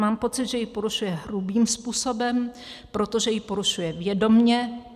Mám pocit, že ji porušuje hrubým způsobem, protože jí porušuje vědomě.